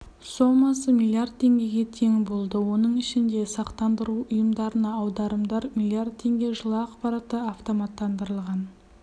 сомасы млрд теңгеге тең болды оның ішінде сақтандыру ұйымдарына аударымдар млрд теңге жылы ақпаратты автоматтандырылған